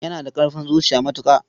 Yana da ƙarfin zuciya matuƙa.